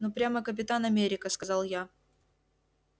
ну прямо капитан америка сказал я